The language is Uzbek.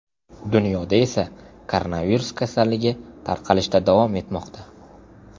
Dunyoda esa koronavirus kasalligi tarqalishda davom etmoqda.